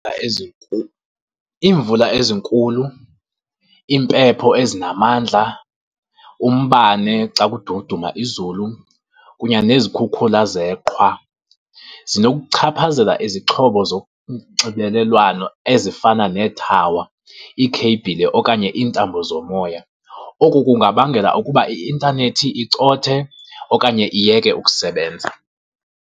Iimvula ezinkulu, impepho ezinamandla, umbane xa kududuma izulu, kunye nezikhukhula zeqhwa zinokuchaphazela izixhobo zonxibelelwano ezifana neethawa, iikheyibhile okanye iintambo zomoya. Oku kungabangela ukuba i-intanethi icothe okanye iyeke ukusebenza.